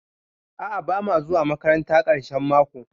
A'a bamu zuwa makaranta ƙarshen mako.